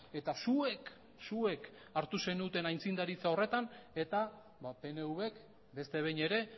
eta zuek zuek hartu zenuten aitzindaritza horretan eta pnvk beste behin ere